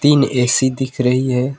तीन ए_सी दिख रही है।